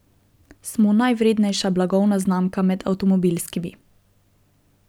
Smo najvrednejša blagovna znamka med avtomobilskimi.